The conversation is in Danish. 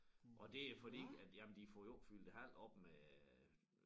Og det jo fordi at jamen de får jo ikke fyldt æ hal op med